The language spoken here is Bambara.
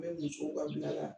N bɛ musow ka bila la.